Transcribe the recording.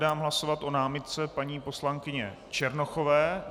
Dám hlasovat o námitce paní poslankyně Černochové.